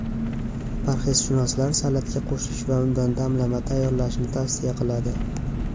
Parhezshunoslar salatga qo‘shish va undan damlama tayyorlashni tavsiya qiladi.